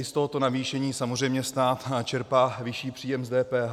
I z tohoto navýšení samozřejmě stát čerpá vyšší příjem z DPH.